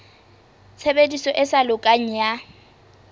tshebediso e sa lokang ya